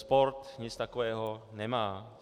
Sport nic takového nemá.